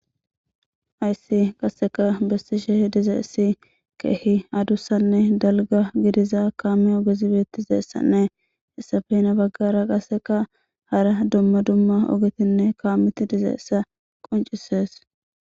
Haysi kaseka besishe dizaysi keehi adusane dalga gidiza kaame ogezi be'etizaysane hesape hina bagara kaseka hara duma duma ogetine kaameti dizaysa qoncises.